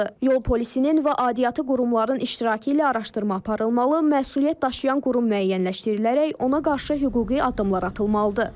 Yol polisinin və aidiyyatı qurumların iştirakı ilə araşdırma aparılmalı, məsuliyyət daşıyan qurum müəyyənləşdirilərək ona qarşı hüquqi addımlar atılmalıdır.